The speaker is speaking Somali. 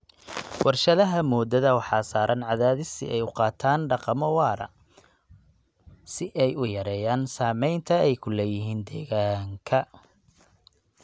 Warshadaha moodada waxaa saaran cadaadis si ay u qaataan dhaqamo waara si ay u yareeyaan saamaynta ay ku leeyihiin deegaanka.